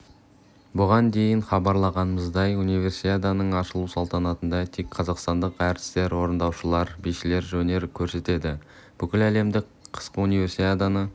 бұған дейін хабарлағанымыздай универсиаданың ашылу салтанатында тек қазақстандық әртістер орындаушылар бишілер өнер көрсетеді бүкіләлемдік қысқы универсиаданы